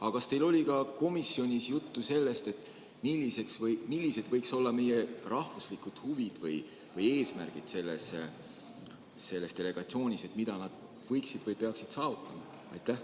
Aga kas teil oli komisjonis juttu ka sellest, millised võiksid olla meie rahvuslikud huvid või eesmärgid selles delegatsioonis, mida need liikmed võiksid või peaksid seal saavutama?